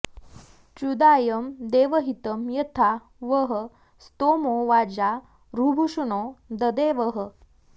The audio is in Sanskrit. त्र्युदायं देवहितं यथा वः स्तोमो वाजा ऋभुक्षणो ददे वः